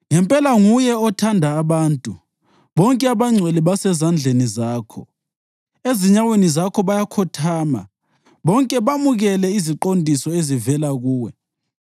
Ngempela nguwe othanda abantu, bonke abangcwele basezandleni zakho. Ezinyaweni zakho bayakhothama bonke bamukele iziqondiso ezivela kuwe,